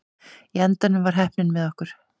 Í endanum var heppnin með okkur.